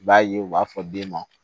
I b'a ye u b'a fɔ den ma